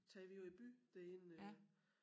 Tager vi jo i by derinde og